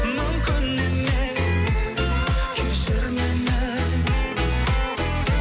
мүмкін емес кешір мені